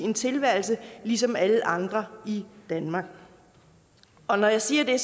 en tilværelse ligesom alle andre i danmark og når jeg siger det